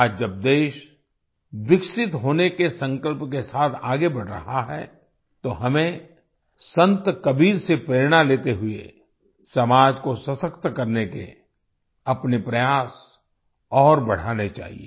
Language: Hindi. आज जब देश विकसित होने के संकल्प के साथ आगे बढ़ रहा है तो हमें संत कबीर से प्रेरणा लेते हुए समाज को सशक्त करने के अपने प्रयास और बढ़ाने चाहिए